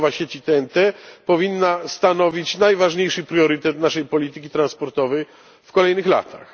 Budowa sieci TEN T powinna stanowić najważniejszy priorytet naszej polityki transportowej w kolejnych latach.